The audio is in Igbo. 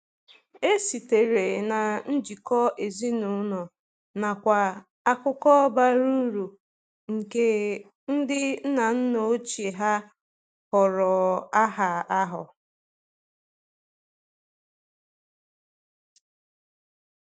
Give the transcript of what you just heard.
E sitere na njikọ ezinụlọ nakwa akụkọ bara uru nke ndi nna nna ochie ha họrọ aha ahụ.